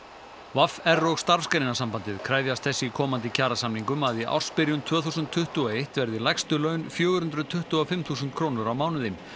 v r og Starfsgreinasambandið kefjast þess í komandi kjarasamningum að í ársbyrjun tvö þúsund tuttugu og eitt verði lægstu laun fjögur hundruð tuttugu og fimm þúsund krónur á mánuði